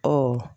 Ɔ